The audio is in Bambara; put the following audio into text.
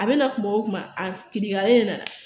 A bɛ na kuma o kuma a kitigɛlen de nana